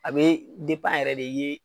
A be yɛrɛ de i ye